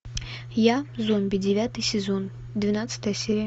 я зомби девятый сезон двенадцатая серия